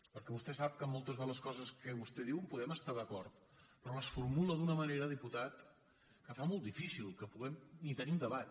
perquè vostè sap que amb moltes de les coses que vostè diu podem estar d’acord però les formula d’una manera diputat que fa molt difícil que puguem ni tenir un debat